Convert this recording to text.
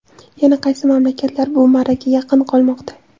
Yana qaysi mamlakatlar bu marraga yaqin qolmoqda?.